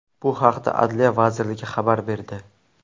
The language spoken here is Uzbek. Bu haqda Adliya vazirligi xabar berdi.